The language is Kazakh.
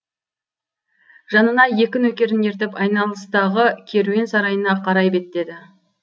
жанына екі нөкерін ертіп айналыстағы керуен сарайына қарай беттеді